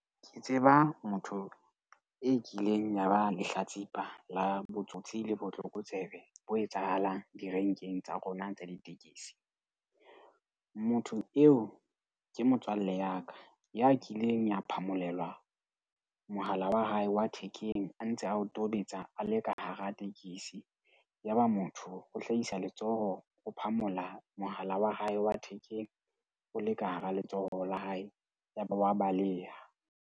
Ke tseba motho e kileng ya ba lehlatsipa la botsotsi le botlokotsebe bo etsahalang direnkeng tsa rona tsa ditekesi. Motho eo ke motswalle ya ka ya kileng ya phamolelwa mohala wa hae wa thekeng a ntse a o tobetsa a le ka hara tekesi. Yaba motho o hlahisa letsoho ho phamola mohala wa hae wa thekeng, o le ka hara letsoho la hae. Yaba wa baleha.